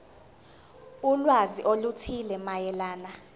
ulwazi oluthile mayelana